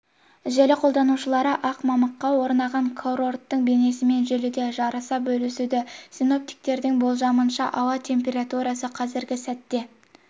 желі қолданушылары ақ мамыққа орнаған курорттың бейнесімен желіде жарыса бөлісуде синоптиктердің болжамынша ауа температурасы қазіргі сәтте